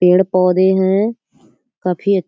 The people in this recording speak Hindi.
पेड़ पौधे हैं। काफी अ --